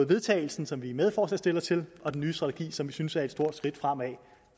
vedtagelse som vi er medforslagsstillere til og den nye strategi som vi synes er et stort skridt fremad